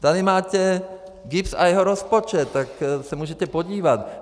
Tady máte GIBS a jeho rozpočet, tak se můžete podívat.